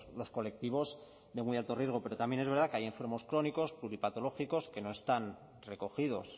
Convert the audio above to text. los colectivos de muy alto riesgo pero también es verdad que hay enfermos crónicos pluripatológicos que no están recogidos